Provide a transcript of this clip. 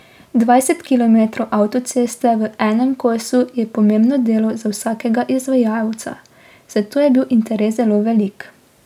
Dvajset kilometrov avtoceste v enem kosu je pomembno delo za vsakega izvajalca, zato je bil interes zelo velik.